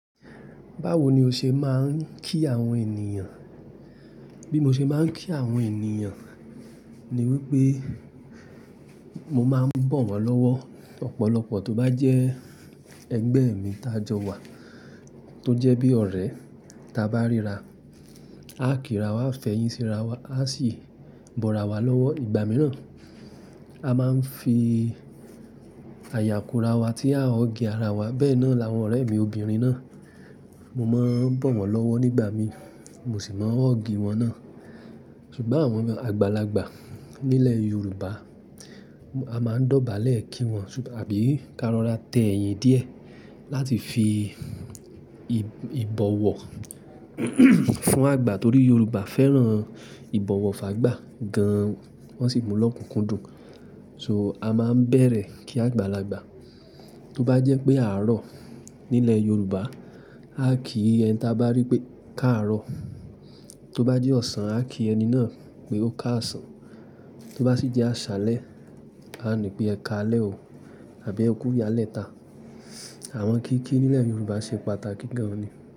Báwo ni o ṣe máa ń kí àwọn ènìyàn? Bí mo ṣe máa ń kí àwọn ènìyàn ni wípé mo máa ń bọ̀ wọ́n lọ́wọ́. Ọ̀pọ̀lọpọ̀ tó bá jẹ́ ẹgbẹ́ mi tajọ́ wà, tó jẹ́ bí ọ̀rẹ́ ta bá ríra, a kí ra wá, a fẹ̀yìn sí ra wá, a sì bọ́ra wá lọ́wọ́ ìgbà mìíràn. A máa ń fi àyàko ra wá tí a ò gé ara wa. Bẹ́ẹ̀ náà làwọn ọ̀rẹ́ mi obìnrin náà, mo máa ń bọ̀ wọ́n lọ́wọ́ nígbà mi, mo sì máa hug wọn náà. Ṣùgbọ́n àwọn àgbàlagbà nílẹ̀ Yorùbá, a máa ń dọ̀bálẹ̀ kí wọn ṣùgbọ́n àbí ká lọ ra tẹ́ ẹyin díẹ̀ láti fi ìbọ̀wọ̀ fún àgbà torí Yorùbá fẹ́ràn ìbọ̀wọ̀ fún àgbà gan-an. Wọ́n sì mú lọ́kùnkúndùn. So a máa ń bẹ̀rẹ̀ kí àgbàlagbà. Tó bá jẹ́ pé aarọ̀ nílẹ̀ Yorùbá, a kí ẹni tá bá rí pé káarọ̀. Tó bá jẹ́ ọ̀sán, a kí ẹni náà pé ó káàsán. Tó bá sì jẹ́ àṣálẹ́, a ní pé ẹkáalẹ́ o àbí ẹ kú ìyálẹ́ ta. Àwọn kìíkìí nílẹ̀ Yorùbá ṣe pàtàkì gan-an ni.